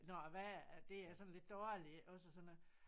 Når æ vejr at det er sådan lidt dårligt iggås og sådan noget